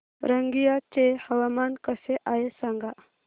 रंगिया चे हवामान कसे आहे सांगा